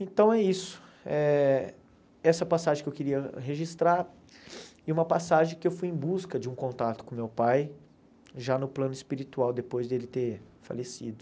Então é isso, eh essa passagem que eu queria registrar, e uma passagem que eu fui em busca de um contato com meu pai, já no plano espiritual, depois dele ter falecido.